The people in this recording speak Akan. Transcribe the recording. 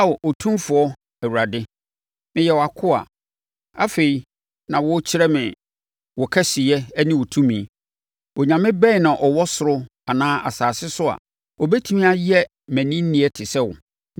“Ao Otumfoɔ Awurade, meyɛ wʼakoa. Afei, na worekyerɛ me wo kɛseyɛ ne wo tumi. Onyame bɛn na ɔwɔ ɔsoro anaa asase so a ɔbɛtumi ayɛ mmaninneɛ te sɛ wo?